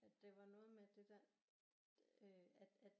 At det var noget med at det der øh at at